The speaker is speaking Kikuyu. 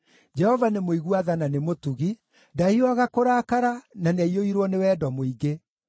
Jehova nĩ mũigua tha na nĩ mũtugi, ndahiũhaga kũrakara, na nĩaiyũirwo nĩ wendo mũingĩ.